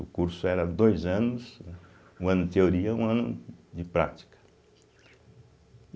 O curso era dois anos, um ano de teoria e um ano de prática.